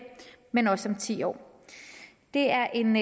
men også om ti år det er en